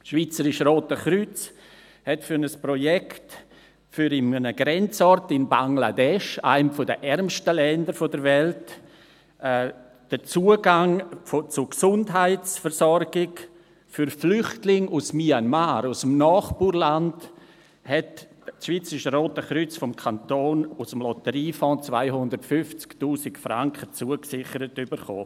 Das Schweizerische Rote Kreuz hat für ein Projekt in einem Grenzort in Bangladesch, einem der ärmsten Länder der Welt, den Zugang zu Gesundheitsversorgung für Flüchtlinge aus Myanmar, aus dem Nachbarland, vom Kanton aus dem Lotteriefonds 250’000 Franken zugesichert erhalten.